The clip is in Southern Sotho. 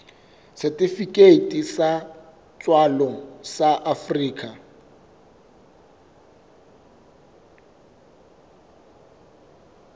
setifikeiti sa tswalo sa afrika